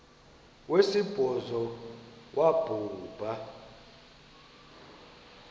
wesibhozo wabhu bha